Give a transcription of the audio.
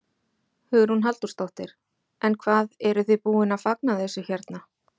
Hugrún Halldórsdóttir: En hvað, eruð þið búin að fagna þessu hérna?